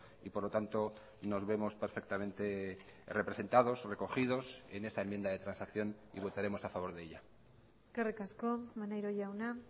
y por lo tanto nos vemos perfectamente representados recogidos en esa enmienda de transacción y votaremos a favor de ella eskerrik asko maneiro jauna